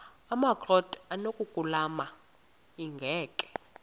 amakrot anokulamla ingeka